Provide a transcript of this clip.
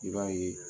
I b'a ye